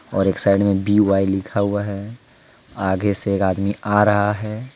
और एक साइड में बी वाई लिखा हुआ है आगे से एक आदमी आ रहा है।